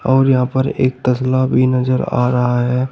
और यहाँ पर एक तसल्ला भी नजर आ रहा है।